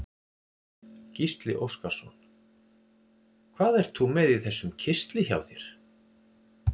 Gísli Óskarsson: Hvað ert þú með í þessum kistli hjá þér?